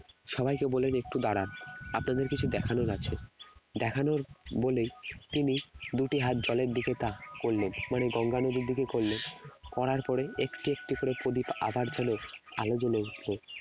সবাইকে বললেন একটু দাঁড়ান আপনাদের কিছু দেখানোর আছে দেখানোর বলেই তিনি দুটি হাত জলের দিকে তাক করলেন মানে গঙ্গা নদীর দিকে করলেন করার পরে একটি একটি করে প্রদীপ আবার যেন আলো জ্বলে উঠলো